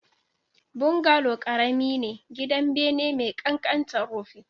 Bungalow ƙarami ne, gidan bene mai ƙanƙantar rufin